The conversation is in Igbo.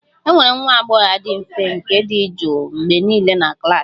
E nwere nwa agbọghọ a dị mfe nke dị jụụ mgbe niile na klas m